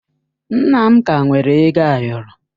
Nna m ka nwere ego ayọrọ.